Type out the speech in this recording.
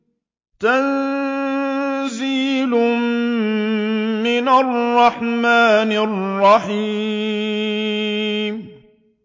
تَنزِيلٌ مِّنَ الرَّحْمَٰنِ الرَّحِيمِ